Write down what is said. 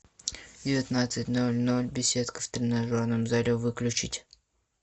в девятнадцать ноль ноль беседка в тренажерном зале выключить